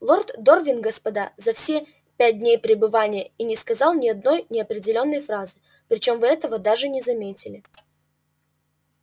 лорд дорвин господа за все пять дней пребывания и не сказал ни одной определённой фразы причём вы этого даже не заметили